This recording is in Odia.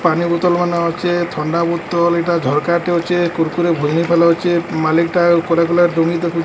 ପାନିବୋତଲମାନ ଅଚେ ଥଣ୍ତାବୋତଲ ଏଟା ଝରକାଟେ ଅଚେ କୁରକୁରେ ମାଲିକ୍ ଟା କୁଆଡେ ଗଲା ଡୁଙ୍ଗି ଦେଖୁ।